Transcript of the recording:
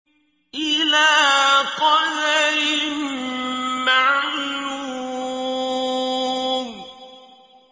إِلَىٰ قَدَرٍ مَّعْلُومٍ